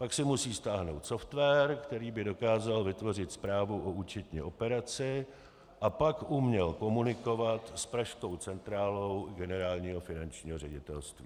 Pak si musí stáhnout software, který by dokázal vytvořit zprávu o účetní operaci a pak uměl komunikovat s pražskou centrálou Generálního finančního ředitelství.